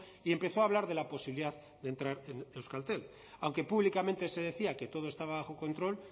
y empezó a hablar de la posibilidad de entrar en euskaltel aunque públicamente se decía que todo estaba bajo control